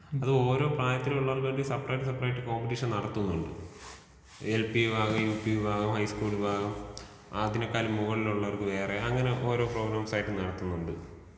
അത് ഓരോ പ്രായത്തിനുള്ളവർക്ക് വേണ്ടി സെപ്പറേറ്റ് സെപ്പറേറ്റ് കോമ്പറ്റീഷൻ നടത്തുന്നുണ്ട്. എൽ പി, വിഭാഗം, യുപി വിഭാഗം ഹൈസ്കൂൾ വിഭാഗം, അതിനേക്കാൾ മുകളിലുള്ളവർക്ക് വേറെ. അങ്ങനെ ഓരോ പ്രോഗ്രാംസായിട്ട് നടത്തുന്നുണ്ട്.